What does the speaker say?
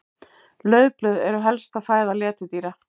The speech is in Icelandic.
Laufblöð eru helsta fæða letidýra.